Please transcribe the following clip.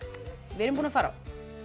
við erum búin að fara á